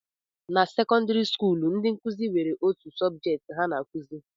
Na sekọndịrị skuulu, ndị nkụzi nwere otu sọbjet ha na-akụzi